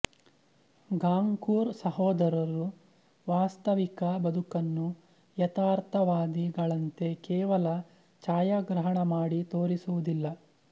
Goncourt ಸಹೋದರರು ವಾಸ್ತವಿಕ ಬದುಕನ್ನು ಯಥಾರ್ಥವಾದಿಗಳಂತೆ ಕೇವಲ ಛಾಯಾಗ್ರಹಣ ಮಾಡಿ ತೋರಿಸುವುದಿಲ್ಲ